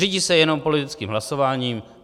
Řídí se jenom politickým hlasováním.